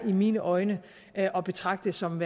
i mine øjne at at betragte som